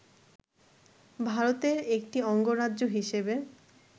ভারতের একটি অঙ্গরাজ্য হিসেবে